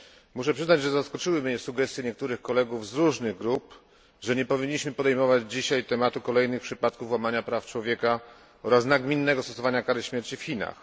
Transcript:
Muszę przyznać, że zaskoczyły mnie sugestie niektórych kolegów z różnych grup, że nie powinniśmy podejmować dzisiaj tematu kolejnych przypadków łamania praw człowieka oraz nagminnego stosowania kary śmierci w Chinach.